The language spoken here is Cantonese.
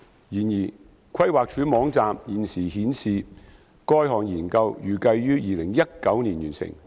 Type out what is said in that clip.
然而，規劃署網站現時顯示該項研究預計於2019年完成。